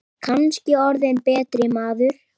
Kannski orðið betri maður.